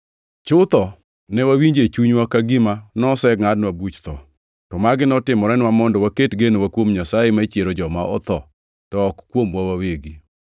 Chutho, ne wawinjo e chunywa ka gima nosengʼadnwa buch tho. To magi notimorenwa mondo waket genowa kuom Nyasaye ma chiero joma otho, to ok kuomwa wawegi.